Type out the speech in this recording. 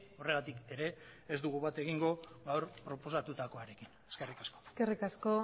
horregatik ere ez dugu bat egingo gaur proposatutakoarekin eskerrik asko eskerrik asko